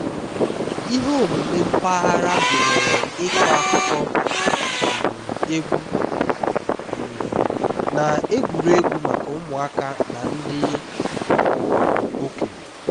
ihe omume mpaghara gụnyere ịkọ akụkọ um egwu um na egwuregwu maka ụmụaka na ndị um okenye